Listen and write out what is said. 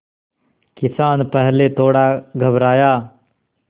किसान पहले थोड़ा घबराया